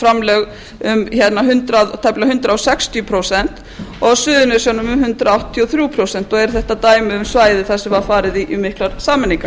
framlög um tæplega hundrað sextíu prósent og á suðurnesjunum um átján r prósent og eru þetta dæmi um svæði þar sem var farið í miklar sameiningar